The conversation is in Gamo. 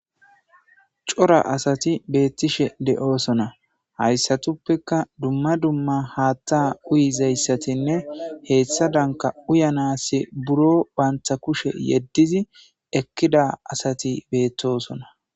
cora asati beettishe de7oosona hayssatuppeka dumma dumma haatta uyizayssatinne heethsha danka uyanasi buro bantha kushe yeddizi ekkida asati beettosona